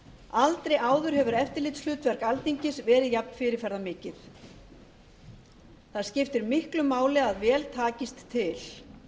aldri áður hefur eftirlitshlutverk alþingis verið jafn fyrirferðarmikð það skiptir miklu máli að vel takist til